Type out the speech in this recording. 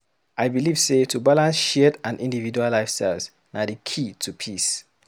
I believe sey to balance shared and individual lifestyles na di key to peace.